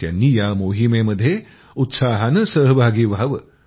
त्यांनी या मोहिमेमध्ये उत्साहानं सहभागी व्हावं